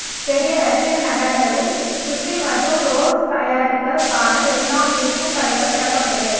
பெரிய ரஷியன் நகரங்களில் சுஷி மற்றும் ரோல்ஸ் தயாரித்தல் க்கான எல்லாம் விற்கும் கடைகள் திறக்கப்பட்டது